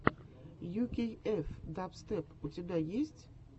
ю кей эф дабстеп у тебя есть